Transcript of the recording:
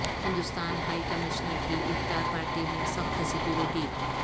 ہندوستانی high commissioner کی افطار پارٹی میں سخت سکیورٹی